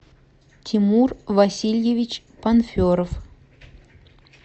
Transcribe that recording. тимур васильевич панферов